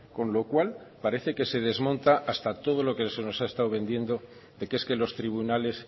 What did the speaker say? con lo cual parece que se desmonta hasta todo lo que se nos ha estado vendiendo de que es que los tribunales